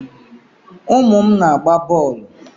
Umu m na-agba boolu